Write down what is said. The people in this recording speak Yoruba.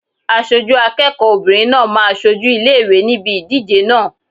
Aṣojú akẹ́kọ̀ọ́ obìnrin náà máa ṣojú ilé ìwé níbi ìdíje náà.